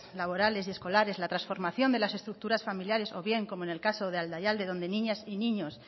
laborales y escolares la transformación de las estructuras familiares o bien como en el caso de aldaialde donde niñas y niños